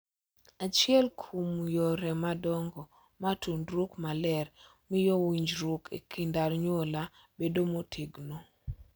Achiel kuom yore madongo ma tudruok maler miyo winjruok e kind anyuola bedo motegno